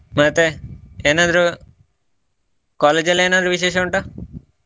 ಮತ್ತೆ ಏನಾದ್ರೂ college ಅಲ್ಲಿ ಏನಾದ್ರು ವಿಶೇಷ ಉಂಟಾ?